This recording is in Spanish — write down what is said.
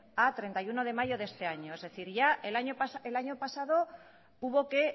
a treinta y uno de mayo de este año es decir ya el año pasado hubo que